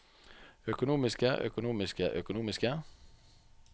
økonomiske økonomiske økonomiske